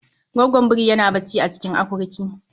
Goggon birin yana bacci a cikin akurkin.